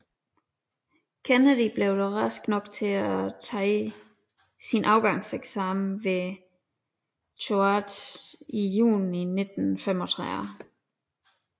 Kennedy blev dog rask nok til at tage sin afgangseksamen ved Choate i juni 1935